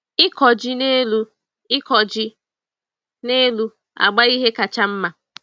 Ịkọ ji n'elu Ịkọ ji n'elu agba ihe kacha nma.